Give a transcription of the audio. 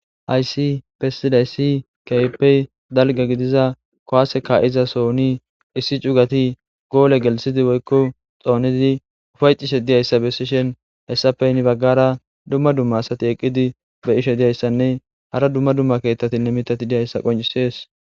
Hayssi besidayssi ke'ippe dalgga giddiiza kuwasse ka'iiza sooni issi cugati golle gelththiddi woykko xoonidi ufayetishshe diiyayssa besishshin hessappe heni baggara dumma dumma asati eqqidi be'ishshe diyayssanne hara dumma dumma keettatinne mittati diyayssa qoncisees